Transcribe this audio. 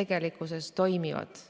tegelikkuses toimiksid.